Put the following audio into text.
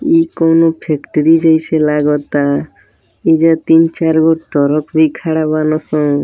ये कौनों फैक्ट्री जइसे लागता। एइजा तीन-चार गो टरक भी खाड़ा बान सं।